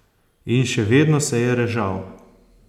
In še vedno se je režal.